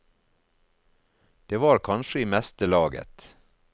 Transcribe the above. Det var kanskje i meste laget.